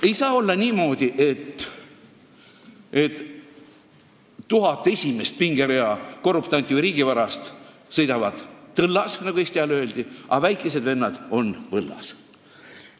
Ei saa olla niimoodi, et 1000 esimese pingerea korruptanti või riigivarast sõidavad tõllas, nagu Eesti ajal öeldi, aga väikesed vennad on võllas.